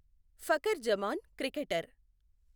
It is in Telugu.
ఫఖర్ జమాన్ క్రికెటర్